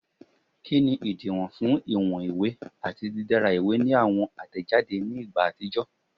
Kini idiwọn fun iwọn iwe ati didara iwe ni awọn atẹjade ni igba atijọ?